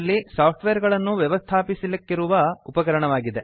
ನಲ್ಲಿ ಸಾಫ್ಟ್ವೇರ್ ಗಳನ್ನು ವ್ಯವಸ್ಥಾಪಿಸಲಿಕ್ಕಿರುವ ಉಪಕರಣವಾಗಿದೆ